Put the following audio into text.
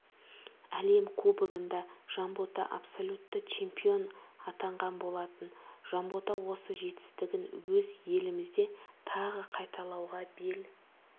әлем кубогында жанбота абсолютті чемпион атанған болатын жанбота осы жетістігін өз елімізде тағы қайталауға бел